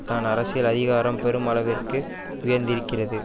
தான் அரசியல் அதிகாரம் பெரும் அளவிற்கு உயர்ந்திருக்கிறது